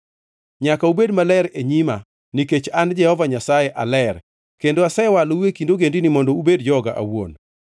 Nyaka ubed maler e nyima nikech an Jehova Nyasaye aler, kendo asewalou e kind ogendini mondo ubed joga awuon.